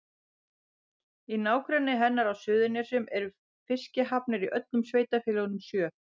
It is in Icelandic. Í nágrenni hennar á Suðurnesjum eru fiskihafnir í öllum sveitarfélögunum sjö.